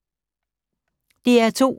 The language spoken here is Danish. DR2